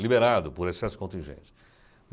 liberado por excesso contingente.